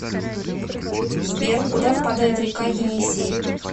сбер куда впадает река енисей